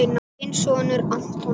Þinn sonur, Anton.